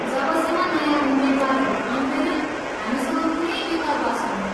जबसम्म नयाँ उम्मेद्वारहरू आउँदैनन्, हामीसँग कुनै विकल्प छैन।